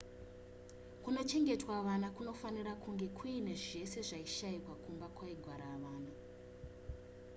kunochengetwa vana kunofanira kunge kuine zvese zvaishayikwa kumba kwaigara vana